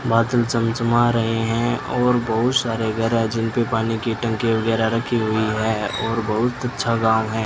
बादल चमचमा रहे हैं और बहुत सारे घर है जिनपे पानी की टंकी वगैरा रखी हुई हैं और बहुत अच्छा गांव है।